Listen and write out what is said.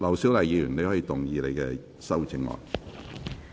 劉小麗議員，你可以動議你的修正案。